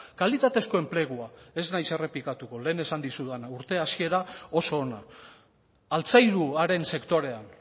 kalitatezko enplegua ez naiz errepikatuko lehen esan dizudana urte hasiera oso ona altzairuaren sektorean